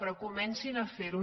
però comencin a fer·ho